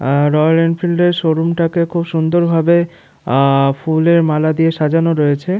আর royal এনফিল্ডের showroom টাকে খুব সুন্দর ভাবে আ- ফুলের মালা দিয়ে সাজানো রয়েছে।